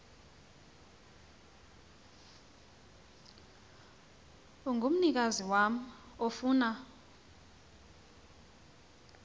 ongumnikazi wam ofuna